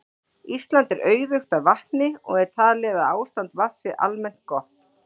Ísland er auðugt af vatni og er talið að ástand vatns sé almennt gott.